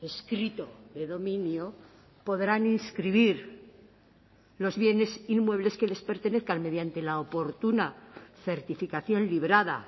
escrito de dominio podrán inscribir los bienes inmuebles que les pertenezcan mediante la oportuna certificación librada